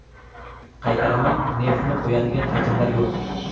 Qaytaraman, neftni qo‘yadigan hajmlar yo‘q.